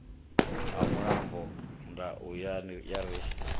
ha mulambo ndau ya ri